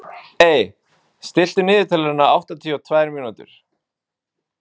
Ey, stilltu niðurteljara á áttatíu og tvær mínútur.